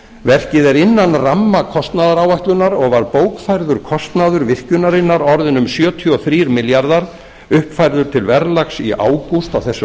verkið er innan ramma kostnaðaráætlunar og var bókfærður kostnaður virkjunarinnar orðinn um sjötíu og þrír milljarðar uppfærður til verðlags í ágúst á þessu